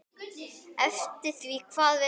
Eftir því hvað hver vill.